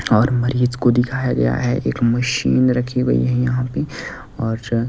और मरीज को दिखाया गया है एक मशीन रखी गई है यहां पे और--